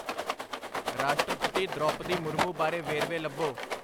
ਰਾਸ਼ਟਰਪਤੀ ਦ੍ਰੋਪਦੀ ਮੁਰਮੂ ਬਾਰੇ ਵੇਰਵੇ ਲੱਭੋ